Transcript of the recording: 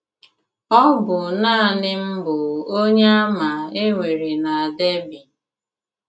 Ọ bụ nanị m bụ Onyeàmà e nwere na Derby.